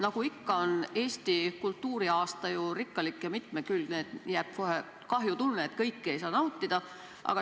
Nagu ikka on Eesti kultuuriaasta nii rikkalik ja mitmekülgne, et jääb kohe kahjutunne, et kõike ei saa nautida.